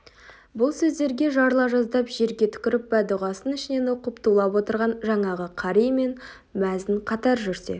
бұл сөздерге жарыла жаздап жерге түкіріп бәддұғасын ішінен оқып тулап отырған жаңағы қари мен мәзін қатар жүрсе